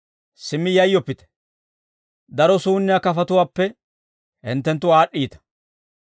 Simmi yayyoppite; daro suunniyaa kafatuwaappe hinttenttu aad'd'iita.